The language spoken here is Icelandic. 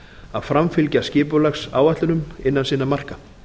að framfylgja skipulagsáætlunum innan sinna marka